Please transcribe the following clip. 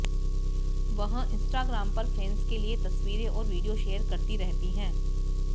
वह इंस्टाग्राम पर फैंस के लिए तस्वीरें और वीडियो शेयर करती रहती हैं